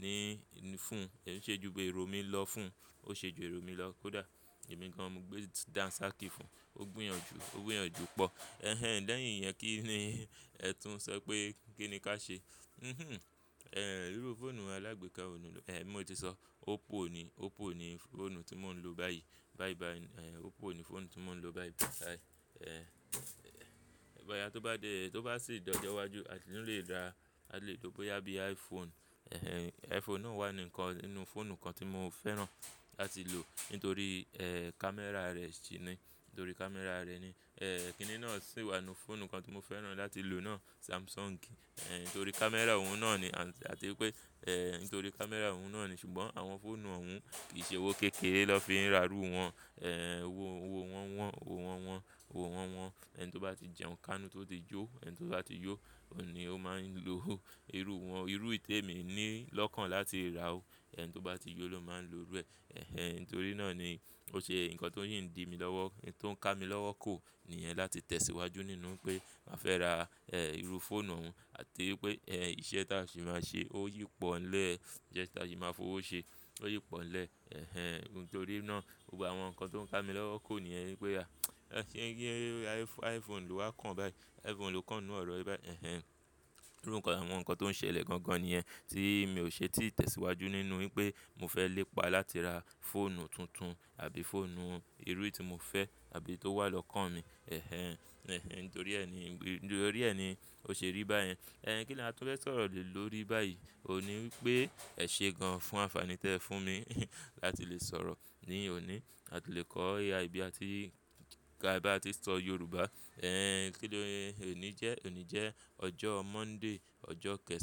ní, fún. Ó ṣe ju èrò mi lọ fún, ó ṣe ju èrò mi lọ kódà. Èmi gan mo gbé dansakí fún. Ó gbúyànjú, ó gbúyànjú pọ̀. Lẹ́yìn, ìyẹn kí ni ẹ tún sọ pé kí ni ká ṣe? Irú fóònù alágbèká wo ló ń lò? Mo ti sọ. Oppo ni, Oppo ni fóònù tí mò ń lò báyìí. Báyìí báyìí, Oppo ni fóònù tí mò ń lò báyìí báyìí. Bóyá tó bá dé, tó bá sì dojọ́ ìwájú, a sì tún lè rà, a lè ló bóyá bí iPhone. iPhone náà wà ní ǹkan nínú fóònù kan tí mo fẹ́ràn láti lò. Nítorí kámẹ́rà rẹ̀ sì ni. Nítorí kámẹ́rà rẹ̀ ni. Kí ni náà sì wà nínú fóònù kan tí mo fẹ́ràn láti lò náà? Samsung. Nítorí kámẹ́rà òun náà ni àti wípé nítorí kámẹ́rà òun náà ni. Ṣùgbọ́n àwọn fóònù òhun kì í ṣe owó kékéré náà fi ń rà irú wọn. Owó wọn wọ́n, owó wọn wọ́n, owó wọn wọ́n. Ẹni tó bá ti jẹun kánú tó ti yó, ẹni tó bá ti yó, òun ní ó máa ń lo irú wọn. Irú èyí tèmi ní lọ́kàn láti rà ó. Ẹni tó bá ti yó ló máa ń lo irú ẹ. Nítorí náà ni ó ṣe nǹkan tó ń yì ndì mi lọ́wọ́. Ohun tó ń ká mi lọ́wọ́ kò níyẹn láti tẹ̀síwájú nínú pé màá fẹ́ ra irú fóònù òhun àti wípé iṣẹ́ tí a sì máa ṣe ó yí pọ̀ ńlẹ̀. Iṣẹ́ tí a sì máa fowó ṣe ó yí pọ̀ ńlẹ̀. Nítorí náà gbogbo àwọn nǹkan tó ń ká mi lọ́wọ́ kò níyẹn wípé a, iPhone ló wá kàn báyìí. iPhone ló kàn nnú ọ̀rọ̀ báyìí. Irú nǹkan, àwọn nǹkan tó ń ṣẹlẹ̀ gan gan ni ẹ. Tí mi ò ṣe tí tẹ̀síwájú nínú wípé mo fẹ́ lépa láti ra fóònù tuntun àbí fóònù irú tí mo fẹ́ àbí tó wà lọ́kàn mi. Nítorí ẹ ni, nítorí ẹ ni ó ṣe rí báyẹn. Kí ni a tún fẹ́ sọ̀rọ̀ le lórí báyìí? Ó ní wípé ẹ̀ ṣé gan fún ànfàní tí ẹ fún mi láti lè sọ̀rọ̀ ní òní. A ti lè kọ́ AI bi àti ka ba tí sọ Yorùbá. Kí nii òní jẹ́, òní jẹ́ ọjọ́ Monday, ọjọ́ kẹẹ̀san.